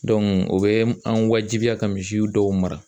o bɛ an wajibiya ka misiw dɔw mara